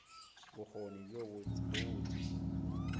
bokgoni bjo bo botse kudukudu